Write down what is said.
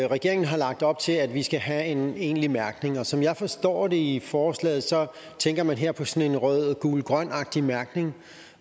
regeringen har lagt op til at vi skal have en egentlig mærkning og som jeg forstår det i forslaget tænker man her på sådan en rød gul grøn agtig mærkning